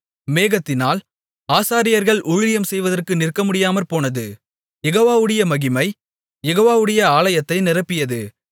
மேகத்தினால் ஆசாரியர்கள் ஊழியம் செய்வதற்கு நிற்கமுடியாமற்போனது யெகோவாவுடைய மகிமை யெகோவாவுடைய ஆலயத்தை நிரப்பியது